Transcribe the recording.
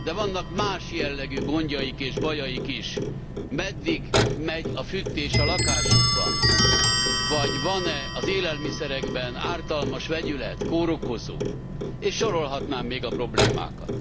De vannak más jellegű gondjaik és bajaik is meddig megy a fűtés a lakásukban, vagy van e az élelmiszerekben ártalmas vegyület, kórokozó, és sorolhatnám még a problémákat.